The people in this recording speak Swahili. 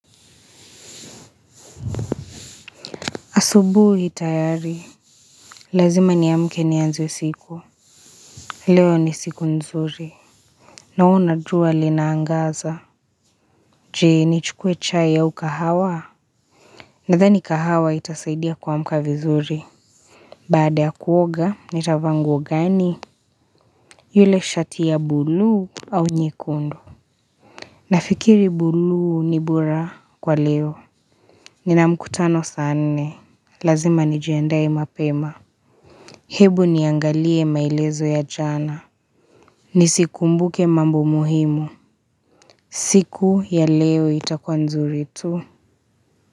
Asubuhi hii tayari. Lazima niamke nianze siku. Leo ni siku nzuri. Naona jua linaangaza. Je, nichukue chai au kahawa? Nadhani kahawa itasaidia kuamka vizuri. Baada ya kuoga, nitavaa nguo gani? Ile shati ya buluu au nyekundu. Nafikiri buluu ni bora kwa leo. Nina mkutano saa nne. Lazima nijiandae mapema. Hebu niangalie maelezo ya jana. Nisikumbuke mambo muhimu. Siku ya leo itakuwa nzuri tu.